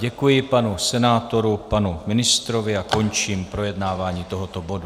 Děkuji panu senátorovi, panu ministrovi a končím projednávání tohoto bodu.